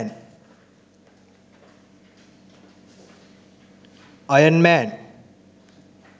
iron man